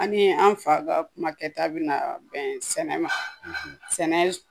An ni an fa ka kumakɛta bɛna bɛn sɛnɛ ma sɛnɛ